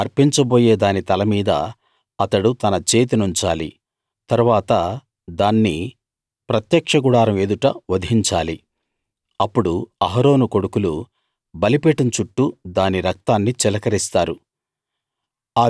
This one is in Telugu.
తాను అర్పించబోయే దాని తల మీద అతడు తన చేతినుంచాలి తరువాత దాన్ని ప్రత్యక్ష గుడారం ఎదుట వధించాలి అప్పుడు అహరోను కొడుకులు బలిపీఠం చుట్టూ దాని రక్తాన్ని చిలకరిస్తారు